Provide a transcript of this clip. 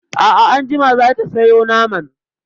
A'a anjima za ta sayo naman.